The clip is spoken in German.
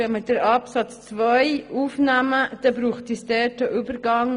Wenn wir den Absatz 2 aufnehmen, braucht es in Absatz 3 einen Übergang.